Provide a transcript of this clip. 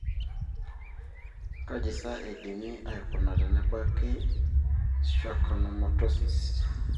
kajisa eidimi aikuna tenebaki schwannomatosis?